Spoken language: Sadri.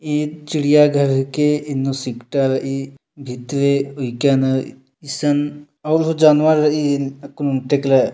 ए चिड़िया घर हिके एन्नु सिकटा रई भीतरे उईकानान ईसन और हों जानवर रई आकुन ओंन्टे एकला --